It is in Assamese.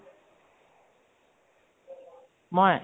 মই?